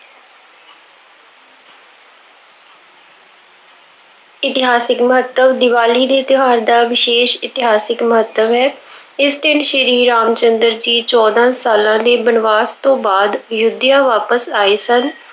ਇਤਿਹਾਸਿਕ ਮਹੱਤਵ- ਦੀਵਾਲੀ ਦੇ ਤਿਉਹਾਰ ਦਾ ਵਿਸ਼ੇਸ਼ ਇਤਿਹਾਸਿਕ ਮਹੱਤਵ ਹੈ। ਇਸ ਦਿਨ ਸ਼੍ਰੀ ਰਾਮ ਚੰਦਰ ਜੀ ਚੋਦਾਂ ਸਾਲਾਂ ਦੇ ਬਨਵਾਸ ਤੋਂ ਬਾਅਦ ਅਯੁੱਧਿਆ ਵਾਪਸ ਆਏ ਸਨ।